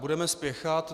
Budeme spěchat.